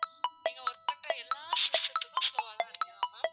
நீங்க work பண்ற எல்லா system த்துக்கும் slow வா தான் இருக்கா ma'am